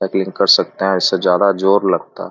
कर सकता हैं इससे ज्यादा जोर लगता --